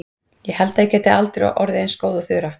Ég held að ég geti aldrei orðið eins góð og Þura.